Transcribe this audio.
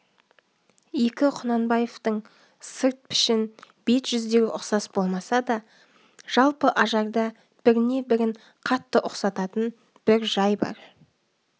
екі құнанбаевтың сырт пішін бет жүздері ұқсас болмаса да жалпы ажарда біріне бірін қатты ұқсататын бір жай бар